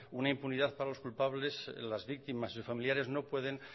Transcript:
una impunidad para los culpables las víctimas y sus familiares no pueden